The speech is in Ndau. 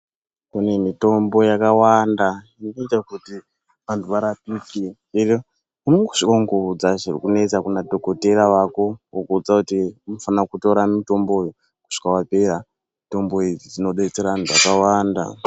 Kune mitombo yakawanda ikuita kuti vanhu varapiswe, unongoshongodza zvikunetsa kuna dokotera wako, wokuudza kuti unofana kutora mutombo uyu kusvika wapera. Mutombo idzi dzinobetsera vanhu vakawanda.